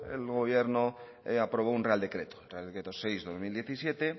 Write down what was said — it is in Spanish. el nuevo gobierno aprobó un real decreto real decreto seis barra dos mil diecisiete